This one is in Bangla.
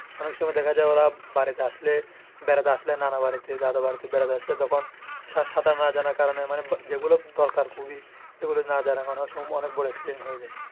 অনেক সময় ওরা বাড়িতে আসলে বেড়াতে আসলে নানা বাড়িতে দাদা বাড়িতে বেড়াতে আসলে তখন সাঁতার না জনার কারণে যেগু দরকার খুবই এগুলি না জনার কারণে অনেক সময় অনেক বড় accident হয়ে যাই।